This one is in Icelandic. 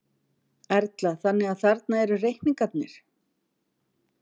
Erla: Þannig að þarna eru reikningarnir?